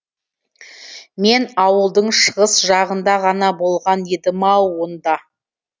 мен ауылдың шығыс жағында ғана болған едім ау онда